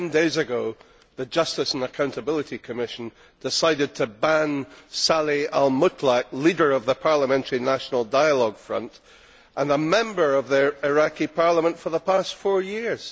Ten days ago, the Justice and Accountability Commission decided to ban Saleh al Mutlaq, leader of the parliamentary National Dialogue Front and a member of the Iraqi Parliament for the past four years.